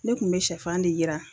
Ne kun be sɛfan de yiran